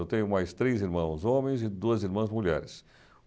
Eu tenho mais três irmãos homens e duas irmãs mulheres.